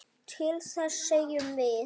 Til þess segjum við.